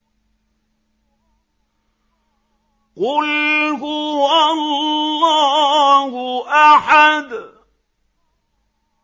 قُلْ هُوَ اللَّهُ أَحَدٌ